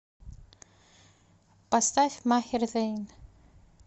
поставь махер зэйн